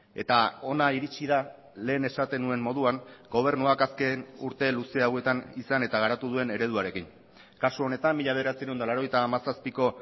eta hona iritsi da lehen esaten nuen moduan gobernuak azken urte luze hauetan izan eta garatu duen ereduarekin kasu honetan mila bederatziehun eta laurogeita hamazazpiko